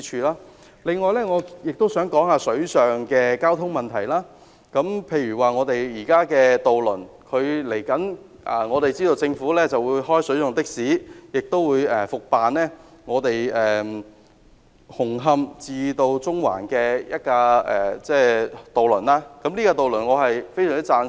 另外，關於水上交通問題。政府稍後會開辦水上的士，也會復辦紅磡至中環的渡輪，對此我非常贊成。